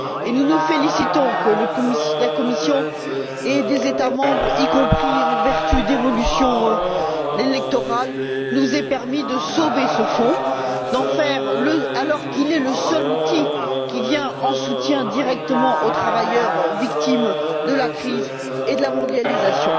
Nous nous félicitons que la Commission et des États membres, y compris en vertu d'évolutions électorales, nous aient permis de sauver ce fonds, d'en faire, à l'heure qu'il est, le seul outil qui vient en soutien directement aux travailleurs victimes de la crise et de la mondialisation.